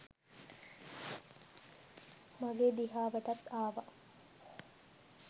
මගේ දිහාවටත් ආව.